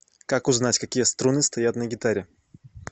как узнать какие струны стоят на гитаре